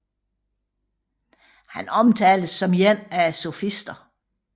Han omtales som en af sofisterne